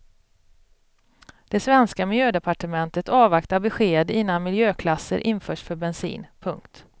Det svenska miljödepartementet avvaktar besked innan miljöklasser införs för bensin. punkt